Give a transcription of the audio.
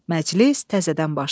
Məclis təzədən başlandı.